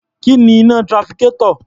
Kí ni iná trafficator?